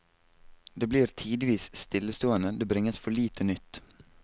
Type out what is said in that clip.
Det blir tidvis stillestående, det bringes for lite nytt.